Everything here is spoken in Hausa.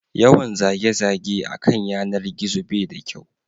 Yawan zage zage a kan yanar gizo bai da kyau